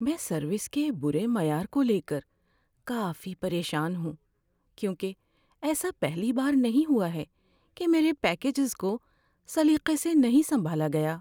میں سروس کے بُرے معیار کو لے کر کافی پریشان ہوں، کیونکہ ایسا پہلی بار نہیں ہوا کہ میرے پیکجز کو سلیقے سے نہیں سنبھالا گیا۔